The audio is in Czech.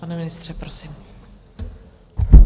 Pane ministře, prosím.